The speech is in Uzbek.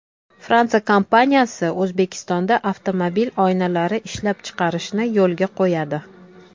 Fransiya kompaniyasi O‘zbekistonda avtomobil oynalari ishlab chiqarishni yo‘lga qo‘yadi.